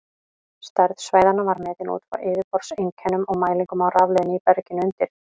Stærð svæðanna var metin út frá yfirborðseinkennum og mælingum á rafleiðni í berginu undir.